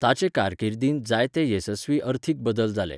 ताचे कारकिर्दींत जायते येसस्वी अर्थीक बदल जाले.